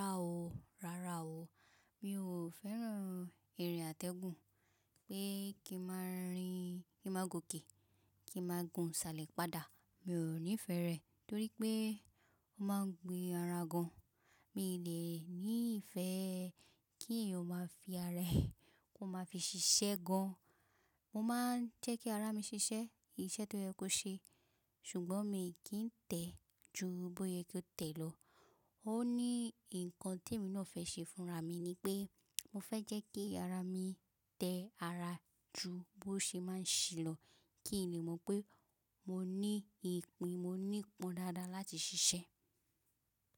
Rárá o, rárá o. Mi ò fẹ́ràn ìrìn àtẹ̀gùn pé kí n máa rìn, kí n máa gòkè, kí n máa gùn, sálẹ̀, padà. Mi ò nífẹ̀ẹ́ rẹ̀ torí pé ó máa ń gbin ara gan. Mi lè ní ìfẹ́ kí èèyàn ó máa fi ara ẹ, kó máa fi ṣiṣẹ́ gan. Mo máa jé kí ara mi sesè isè to ye kó se sùgbón mi kìn tè jù bóyá kò tè ló ó ní nǹkan tí èmi náà fẹ́ ṣe fúnra mi ni pé mo fẹ́ jẹ́ kí ara mi tẹ ara ju bó ṣe máa ń ṣí lọ kí n lè mọ̀ pé mo ní ìpín, mo ní pọ̀n dáadáa láti ṣiṣẹ́.